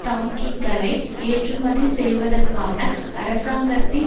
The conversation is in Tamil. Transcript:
டாங்கின்களை ஏற்றுமதி செய்வதற்கான அரசாங்கத்தின்